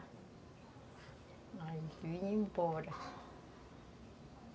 Aí a gente vinha embora.